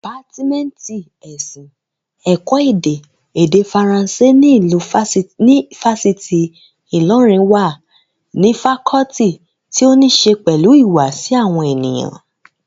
Dìpátímẹ́ǹtì ẹ̀sìn, ẹ̀kọ́ èdè, èdè faransé ní ifásitì Ìlọrin wà ní fakọọti tí ó ní ṣe pẹ̀lú ìhùwàsí àwọn ènìyàn